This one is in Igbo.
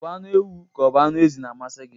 O bụ anụ ewu ka o bụ anụ ezi na-amasi gị?